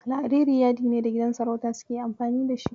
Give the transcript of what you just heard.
Alhariri yadi ne da gidan sarauta suke amfani da shi.